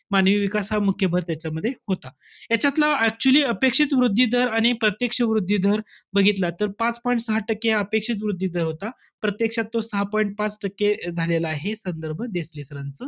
मानवी विकास हा मुख्य भर त्याच्यामध्ये होता. यांच्यातलं actually अपेक्षित वृद्धी दर आणि प्रत्यक्ष वृद्धी दर बघितला. तर पाच point सहा टक्के हा अपेक्षित वृद्धी दर होता. प्रत्यक्षात तो सहा point पाच टक्के झालेला आहे. संदर्भ देसले sir च,